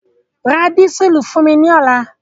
Ra dísùlù fún mi ní ọ̀la!